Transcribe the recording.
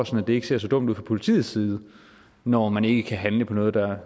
så det ikke ser så dumt ud fra politiets side når man ikke kan handle på noget der